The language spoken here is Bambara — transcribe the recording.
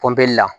kɔnpeli